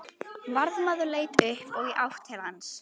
Varðmaður leit upp og í átt til hans.